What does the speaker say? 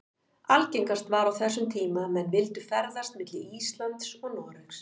Algengast var á þessum tíma að menn vildu ferðast milli Íslands og Noregs.